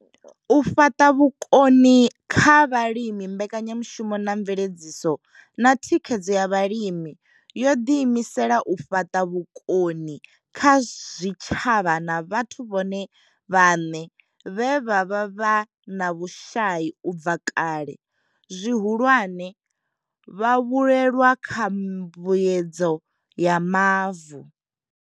U fhaṱa vhukoni kha vhalimi mbekanyamushumo ya mveledziso na thikhedzo ya vhalimi yo ḓiimisela u fhaṱa vhukoni kha zwitshavha na vhathu vhone vhaṋe vhe vha vha vhe na vhushai u bva kale zwihulwane vhavhuelwa kha mbuedzedzo ya mavu.